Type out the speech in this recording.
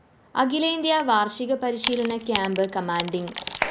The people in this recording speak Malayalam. അഖിലേന്ത്യാ വാര്‍ഷിക പരിശീലന ക്യാംപ്‌ കമാൻഡിങ്‌